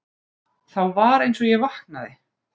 Þá var einsog ég vaknaði.